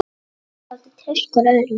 Þeir gátu treyst hvor öðrum.